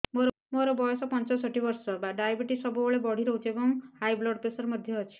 ମୋର ବୟସ ପଞ୍ଚଷଠି ବର୍ଷ ଡାଏବେଟିସ ସବୁବେଳେ ବଢି ରହୁଛି ଏବଂ ହାଇ ବ୍ଲଡ଼ ପ୍ରେସର ମଧ୍ୟ ଅଛି